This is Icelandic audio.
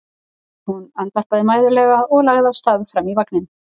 Hún andvarpaði mæðulega og lagði af stað fram í vagninn.